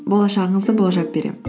болашағыңызды болжап беремін